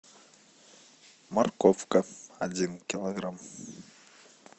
морковка один килограмм